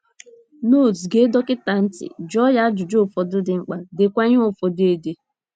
notes Gee dọkịta ntị, jụọ ya ajụjụ ụfọdụ dị mkpa, deekwa ihe ụfọdụ ede